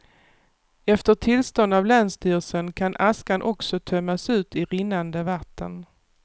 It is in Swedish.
Efter tillstånd av länsstyrelsen kan askan också tömmas ut i rinnande vatten.